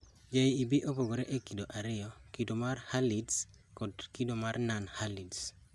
JEB opogre e kido ariyo: kido mar Herlitz kod kido mar Non Herlitz